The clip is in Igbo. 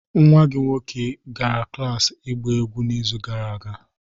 nwa gị nwoke gara klas ịgba egwu n'izu gara aga